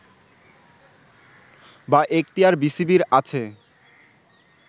বা এখতিয়ার বিসিবির আছে